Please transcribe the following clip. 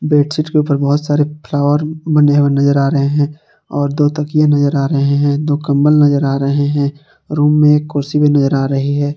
Bedsheet के ऊपर बहुत सारे फ्लावर बने हुए नजर आ रहे हैं और दो तकिये नजर आ रहे हैं दो कंबल नजर आ रहे हैं रूम में एक कुर्सी भी नजर आ रही है।